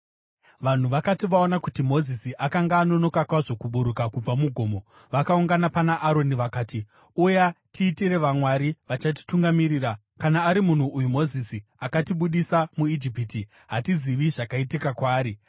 Vanhu vakati vaona kuti Mozisi akanga anonoka kwazvo kuburuka kubva mugomo, vakaungana pana Aroni vakati, “Uya, tiitire vamwari vachatitungamirira. Kana ari munhu uyu Mozisi akatibudisa muIjipiti, hatizivi zvakaitika kwaari.”